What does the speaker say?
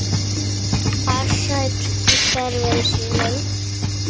Farsæll í störfum sínum.